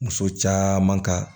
Muso caman ka